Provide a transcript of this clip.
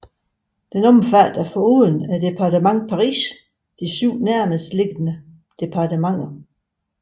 Den omfatter foruden departementet Paris de syv nærmestliggende departementer